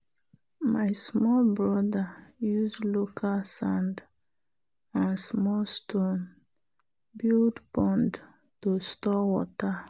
my small brother use local sand and small stone build pond to store water.